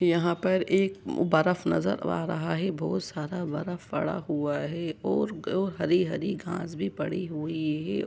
यहां पर एक बर्फ नजर आ रहा है बहुत सारा बर्फ पड़ा हुआ है और और हरी- हरी घास भी पड़ी हुई है।